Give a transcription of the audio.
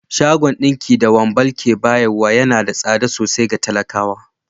Shagon dinki da Wambal ke bayarwa yana da tsada sosai ga talakawa